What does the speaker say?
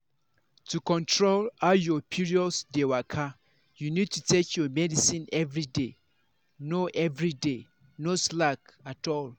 to control how your period dey waka you need to take your medicine everyday. no everyday. no slack at all.